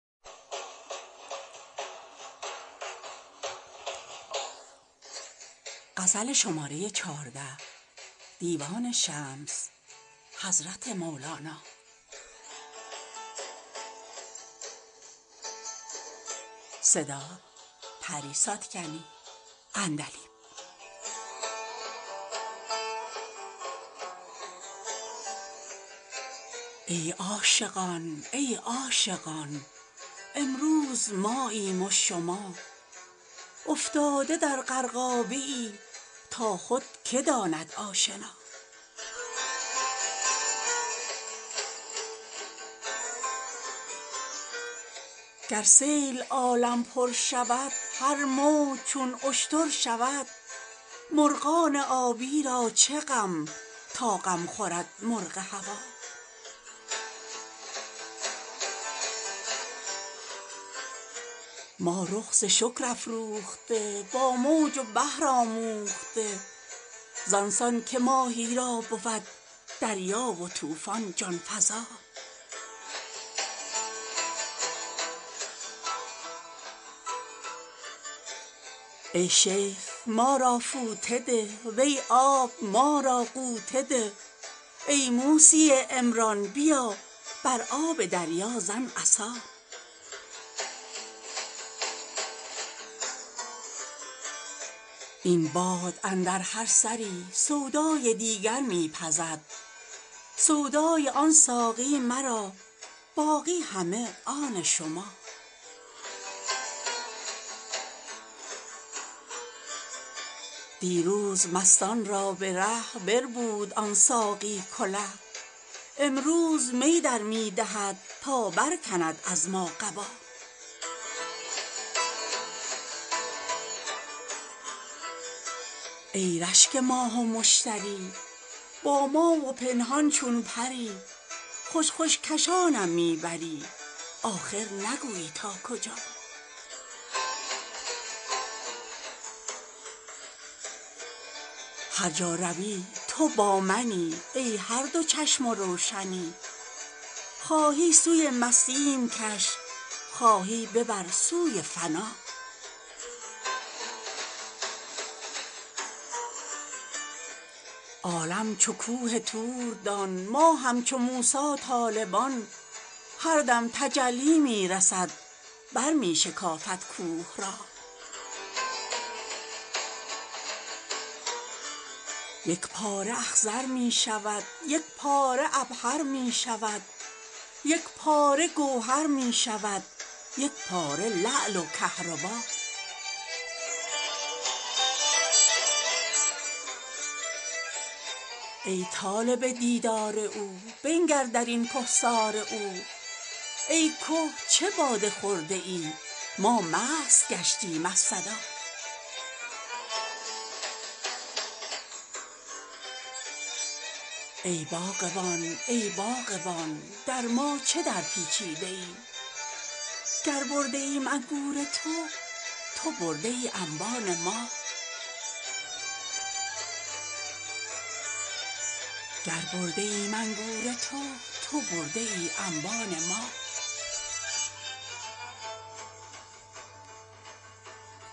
ای عاشقان ای عاشقان امروز ماییم و شما افتاده در غرقابه ای تا خود که داند آشنا گر سیل عالم پر شود هر موج چون اشتر شود مرغان آبی را چه غم تا غم خورد مرغ هوا ما رخ ز شکر افروخته با موج و بحر آموخته زان سان که ماهی را بود دریا و طوفان جان فزا ای شیخ ما را فوطه ده وی آب ما را غوطه ده ای موسی عمران بیا بر آب دریا زن عصا این باد اندر هر سری سودای دیگر می پزد سودای آن ساقی مرا باقی همه آن شما دیروز مستان را به ره بربود آن ساقی کله امروز می در می دهد تا برکند از ما قبا ای رشک ماه و مشتری با ما و پنهان چون پری خوش خوش کشانم می بری آخر نگویی تا کجا هر جا روی تو با منی ای هر دو چشم و روشنی خواهی سوی مستیم کش خواهی ببر سوی فنا عالم چو کوه طور دان ما همچو موسی طالبان هر دم تجلی می رسد برمی شکافد کوه را یک پاره اخضر می شود یک پاره عبهر می شود یک پاره گوهر می شود یک پاره لعل و کهربا ای طالب دیدار او بنگر در این کهسار او ای که چه باده خورده ای ما مست گشتیم از صدا ای باغبان ای باغبان در ما چه درپیچیده ای گر برده ایم انگور تو تو برده ای انبان ما